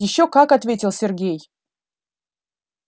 ещё как ответил сергей